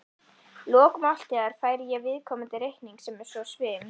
lok máltíðar færi ég viðkomandi reikning sem er svo svim